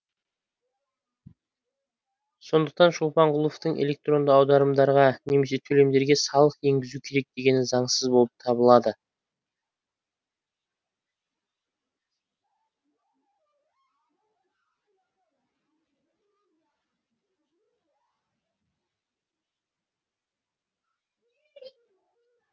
сондықтан шолпанқұловтың электронды аударымдарға немесе төлемдерге салық енгізу керек дегені заңсыз болып табылады